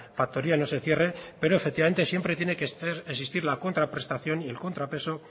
factoría no se cierre pero efectivamente siempre tiene que existir la contraprestación y el contrapeso